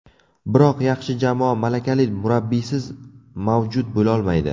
Biroq yaxshi jamoa malakali murabbiysiz mavjud bo‘lolmaydi.